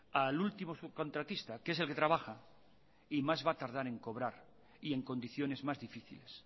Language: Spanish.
al último subcontratista que es el que trabaja y más va a tardar en cobrar y en condiciones más difíciles